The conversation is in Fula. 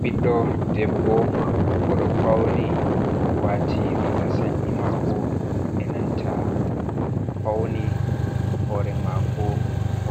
Ɓiddo debbo oɗo fauni wati riga sanyi mako enanta faune, hore mako